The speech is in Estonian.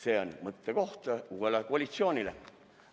See on mõttekoht uuele koalitsioonile.